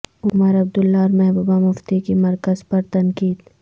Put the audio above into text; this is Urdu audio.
عمر عبداللہ اور محبوبہ مفتی کی مرکز پر تنقید